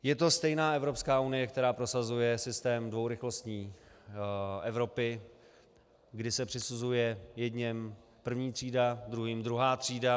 Je to stejná Evropská unie, která prosazuje systém dvourychlostní Evropy, kdy se přisuzuje jedněm první třída, druhým druhá třída.